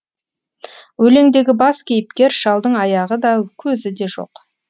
өлеңдегі бас кейіпкер шалдың аяғы да көзі де жоқ